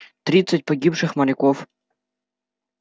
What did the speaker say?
тридцать погибших моряков